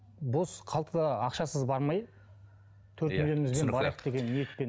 бос қалта ақшасыз бармай иә түсінікті ниетпен